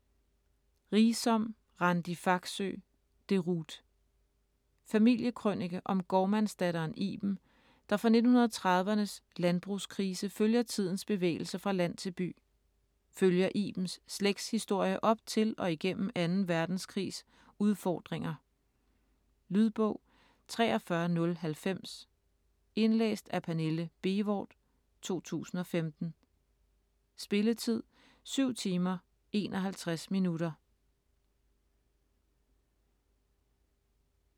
Riisom, Randi Faxøe: Deroute Familiekrønike om gårdmandsdatteren Iben, der fra 1930'ernes landbrugskrise følger tidens bevægelse fra land til by. Følger Ibens slægtshistorie op til og igennem 2. verdenskrigs udfordringer. Lydbog 43090 Indlæst af Pernille Bévort, 2015. Spilletid: 7 timer, 51 minutter.